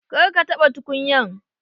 Kar ka taɓa tukunyan!